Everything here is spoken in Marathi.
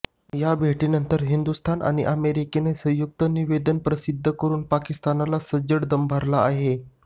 या भेटीनंतर हिंदुस्थान आणि अमेरिकेने संयुक्त निवेदन प्रसिद्ध करुन पाकिस्तानला सज्जड दम भरला आहे